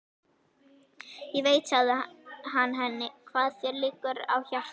Ég veit, sagði hann henni, hvað þér liggur á hjarta